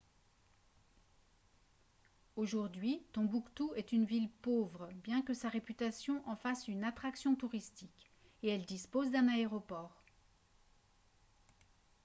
aujourd'hui tombouctou est une ville pauvre bien que sa réputation en fasse une attraction touristique et elle dispose d'un aéroport